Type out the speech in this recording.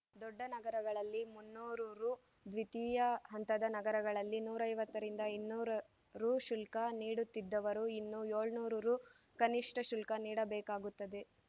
ದೊಡ್ಡ ನಗರಗಳಲ್ಲಿ ಮುನ್ನೂರು ರು ದ್ವಿತೀಯ ಹಂತದ ನಗರಗಳಲ್ಲಿ ನೂರ ಐವತ್ತರಿಂದ ಇನ್ನೂರ ರು ಶುಲ್ಕ ನೀಡುತ್ತಿದ್ದವರು ಇನ್ನು ಏಳುನೂರು ರು ಕನಿಷ್ಟಶುಲ್ಕ ನೀಡಬೇಕಾಗುತ್ತದೆ